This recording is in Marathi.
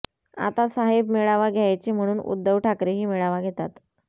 आता साहेब मेळावा घ्यायचे म्हणून उद्धव ठाकरेही मेळावा घेतात